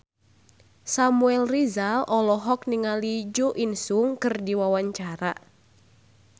Samuel Rizal olohok ningali Jo In Sung keur diwawancara